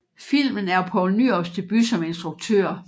Filmen er Poul Nyrups debut som instruktør